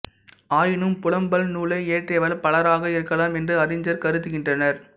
ஆயினும் புலம்பல் நூலை இயற்றியவர் பலராக இருக்கலாம் என்று அறிஞர் கருதுகின்றனர்